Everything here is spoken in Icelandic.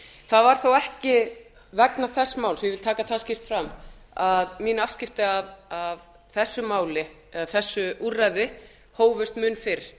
það var þó ekki vegna þess máls ég vil taka það skýrt fram að mín afskipti af þessu máli eða þessu úrræði hófust mun fyrr